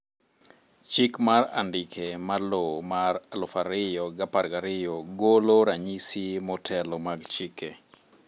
Chik mar andike mar lowo mar 2012 golo ranyisi motelo mag chike